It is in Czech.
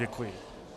Děkuji.